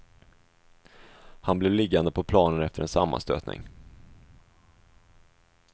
Han blev liggande på planen efter en sammanstötning.